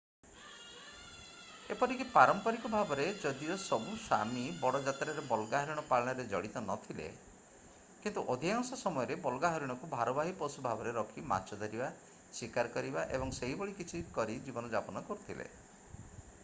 ଏପରିକି ପାରମ୍ପରିକ ଭାବରେ ଯଦିଓ ସବୁ ସାମି ବଡ଼ ମାତ୍ରାରେ ବଲଗା ହରିଣ ପାଳନରେ ଜଡ଼ିତ ନଥିଲେ କିନ୍ତୁ ଅଧିକାଂଶ ସମୟରେ ବଲଗା ହରିଣକୁ ଭାରବାହୀ ପଶୁ ଭାବରେ ରଖି ମାଛ ଧରିବା ଶିକାର କରିବା ଏବଂ ସେହିଭଳି କିଛି କରି ଜୀବନଯାପନ କରୁଥିଲେ